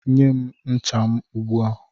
Nye m ncha m ugbu a!